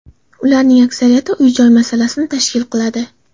Ularning aksariyatini uy-joy masalasi tashkil qiladi.